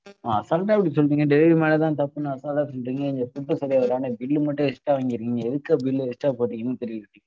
assault ஆ இப்படி சொல்றீங்க? delivery மேலே தான் தப்புன்னு assault ஆ சொல்றீங்க எங்களுக்கு food சரியா இல்லாம bill லு மட்டும் extra வாங்கிருக்கீங்க. எதுக்கு bill அ extra போடுறீங்கனு தெரியல.